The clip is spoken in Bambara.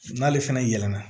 N'ale fɛnɛ yɛlɛ na